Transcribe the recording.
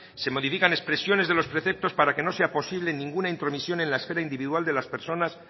se modifican expresiones de los preceptos para que no sea posible ninguna intromisión en la esfera individual de las personas